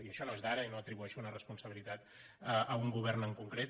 i això no és d’ara i no atribueixo una responsabilitat a un govern en concret